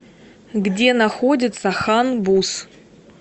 где находится хан буз